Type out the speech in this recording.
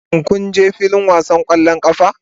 Shin kun je filin wasan ƙwallon ƙafa?